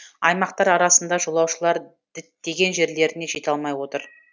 аймақтар арасында жолаушылар діттеген жерлеріне жете алмай отыр